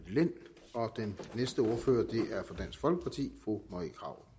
lind og den næste ordfører er fru marie krarup